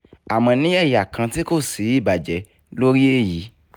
àmó ní ẹ̀yà kán tí kò sí ibàjé lórí èyí